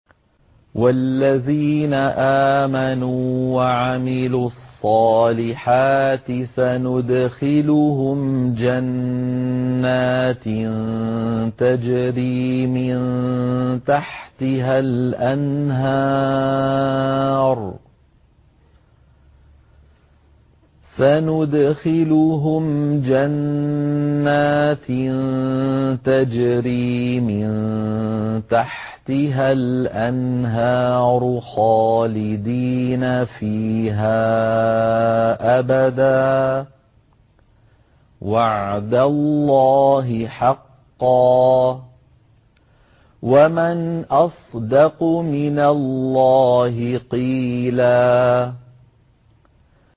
وَالَّذِينَ آمَنُوا وَعَمِلُوا الصَّالِحَاتِ سَنُدْخِلُهُمْ جَنَّاتٍ تَجْرِي مِن تَحْتِهَا الْأَنْهَارُ خَالِدِينَ فِيهَا أَبَدًا ۖ وَعْدَ اللَّهِ حَقًّا ۚ وَمَنْ أَصْدَقُ مِنَ اللَّهِ قِيلًا